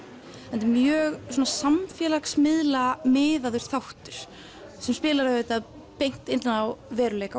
þetta er mjög samfélagsmiðla miðaður þáttur sem spilar beint inn á veruleika